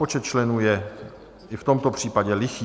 Počet členů je i v tomto případě lichý.